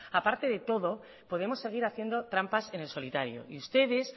a parte de todo podemos seguir haciendo trampas en el solitario y ustedes